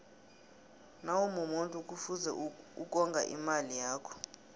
nawumumuntu kufuze ukonga imali yakho